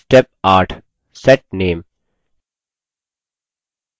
step 8 set name